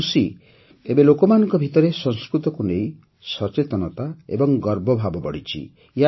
ମୁଁ ଖୁସି ଯେ ଏବେ ଲୋକମାନଙ୍କ ଭିତରେ ସଂସ୍କୃତକୁ ନେଇ ସଚେତନତା ଏବଂ ଗର୍ବଭାବ ବଢ଼ିଛି